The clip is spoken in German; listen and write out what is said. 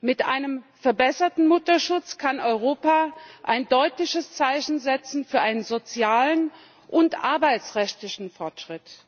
Mit einem verbesserten Mutterschutz kann Europa ein deutliches Zeichen setzen für sozialen und arbeitsrechtlichen Fortschritt.